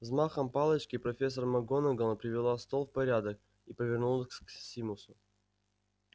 взмахом палочки профессор макгонагалл привела стол в порядок и повернулась к симусу